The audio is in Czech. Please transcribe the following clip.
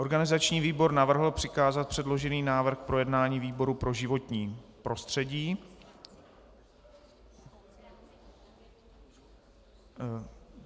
Organizační výbor navrhl přikázat předložený návrh k projednání výboru pro životní prostředí.